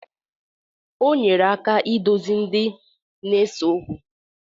Onyere aka idozịri ndị na-ese okwu.